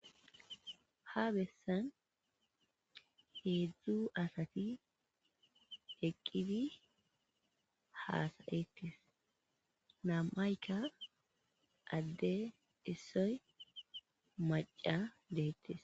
Ha besan hedzu asati eqidi hasayetes nam'ayka ade issoy maca detes